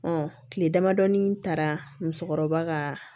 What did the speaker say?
kile damadɔni taara musokɔrɔba ka